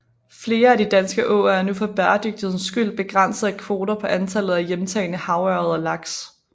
Flere af de danske åer er nu for bæredygtighedens skyld begrænset af kvoter på antallet af hjemtagne havørred og laks